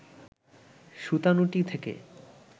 সুতানুটি থেকে